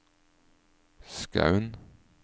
Skaun